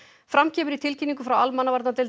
fram kemur í tilkynningu frá almannavarnadeild